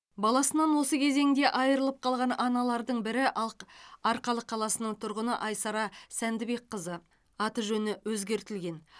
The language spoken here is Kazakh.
баласынан осы кезеңде айырылып қалған аналардың бірі арқа арқалық қаласының тұрғыны айсара сәндібекқызы аты жөні өзгертілді